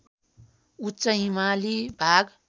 उच्च हिमाली भाग